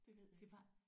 Det ved jeg ikke